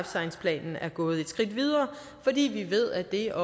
science planen er gået et skridt videre fordi vi ved at det er